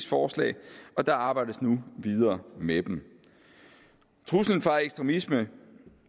forslag og der arbejdes nu videre med dem truslen fra ekstremisme